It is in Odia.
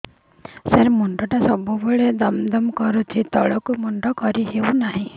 ସାର ମୁଣ୍ଡ ଟା ସବୁ ବେଳେ ଦମ ଦମ କରୁଛି ତଳକୁ ମୁଣ୍ଡ କରି ହେଉଛି ନାହିଁ